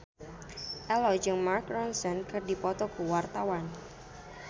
Ello jeung Mark Ronson keur dipoto ku wartawan